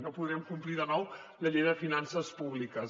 no podem complir de nou la llei de finances públiques